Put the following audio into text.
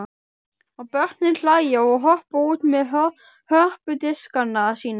Og börnin hlæja og hoppa út með hörpudiskana sína.